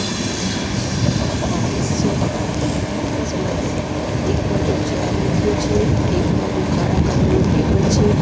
એ જોઈ રહ્યા છે એક ઓફિસ છે ઓફિસ માં એક બાજુ ચેર મુક્યું છે એક બાજુ કાળા કલર નું ટેબલ છે.